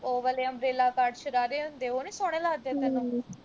ਉਹ ਵਾਲੇ umbrella cut ਸ਼ਰਾਰੇ ਹੁੰਦੇ ਉਹ ਨੀ ਸੋਹਣੇ ਲੱਗਦੇ ਤੈਨੂੰ